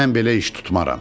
Mən belə iş tutmaram.